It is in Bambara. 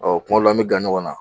kuma dɔw la an be gan ɲɔgɔn na.